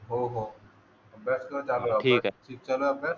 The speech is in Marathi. हो हो प्रश्न चालू राहू द्या शिक्षणाचा